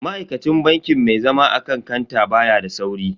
Ma'aikacin bankin mai zama akan kanta baya da sauri.